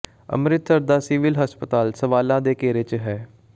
ਅੰਮ੍ਰਿਤਸਰ ਦਾ ਸਿਵਲ ਹਸਪਤਾਲ ਸਵਾਲਾਂ ਦੇ ਘੇਰੇ ਚ ਹੈ